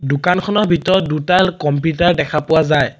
দোকানখনৰ ভিতৰত দুটা কম্পিতা দেখা পোৱা যায়।